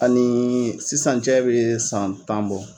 Ani sisan cɛ bɛ san tan bɔ.